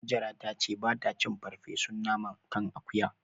Hajara ta ce ba ta cin farfesun naman kan akuya.